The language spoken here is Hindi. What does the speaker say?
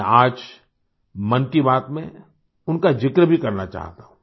मैं आज मन की बात में उनका ज़िक्र भी करना चाहता हूँ